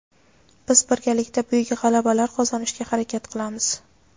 Biz birgalikda buyuk g‘alabalar qozonishga harakat qilamiz.